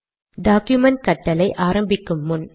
document கட்டளை ஆரம்பிக்கும் முன்